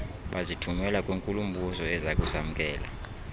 bazithumela kwinkulu mbusoezakusamkela